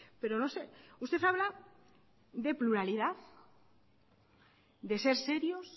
pero no sé usted habla de pluralidad de ser serios